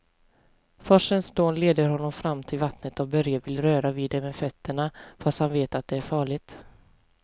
Forsens dån leder honom fram till vattnet och Börje vill röra vid det med fötterna, fast han vet att det är farligt.